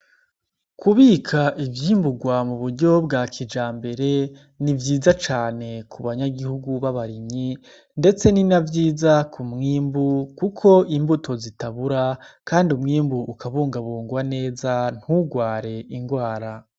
Kubika ivyimburwa mu buryo bwa kijambere ni vyiza cane ku banyagihugu b'abarimyi, ndetse ni na vyiza ku mwimbu kuko imbuto zitabura kandi umwimbu ukabungwabungwa neza nturware ingwara.